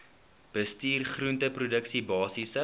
bestuur groenteproduksie basiese